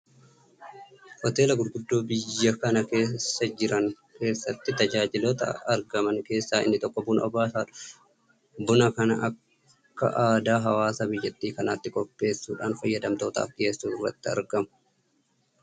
Hoteelota gurguddoo biyya kana keessa jiran keessatti tajaajiloota argaman keessaa inni tokko buna obaasuudha. Buna kana akka aadaa hawaasa biyya kanaatti qopheessuudhaan fayyadamtootaaf dhiyeessuu irratti argamu. Kun immoo fayyadamtoota baay'ee gammachiisuudhaan akka isaan maamila ta'aniif fayyadeera.